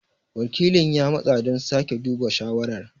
Wakilin ya matsa don sake duba shawarar.